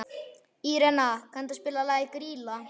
Írena, kanntu að spila lagið „Grýla“?